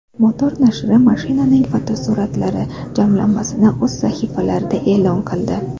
Motor nashri mashinaning fotosuratlari jamlanmasini o‘z sahifalarida e’lon qildi .